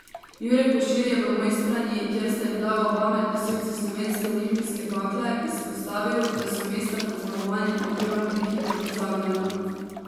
Jure Košir je v Mojstrani, kjer sta bila oba med nosilci slovenske olimpijske bakle, izpostavil, da so mesta pod zmagovalnim odrom prehitro pozabljena.